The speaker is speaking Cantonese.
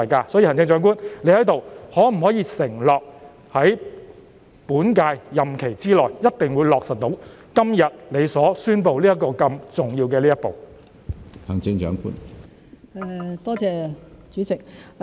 因此，行政長官，你可否在此承諾，一定會在本屆任期之內，落實你今天宣布的如此重要的一步？